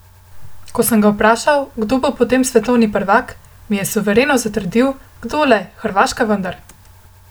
Ko sem ga vprašal, kdo bo potem svetovni prvak, mi je suvereno zatrdil, kdo le, Hrvaška vendar!